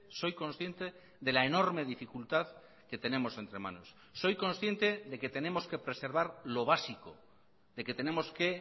soy consciente de la enorme dificultad que tenemos entre manos soy consciente de que tenemos que preservar lo básico de que tenemos que